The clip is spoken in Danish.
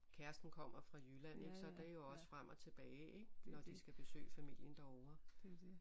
Kæresten kommer fra Jylland ik så det er jo også frem og tilbage ik når de skal besøge familien derovre